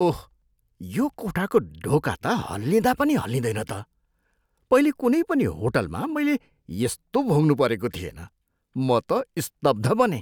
ओह, यो कोठाको ढोका त हल्लिँदा पनि हल्लिँदैन त, पहिले कुनै पनि होटलमा मैले यस्तो भोग्नु परेको थिएन। म त स्तब्ध बनेँ।